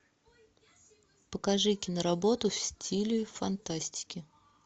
покажи киноработу в стиле фантастики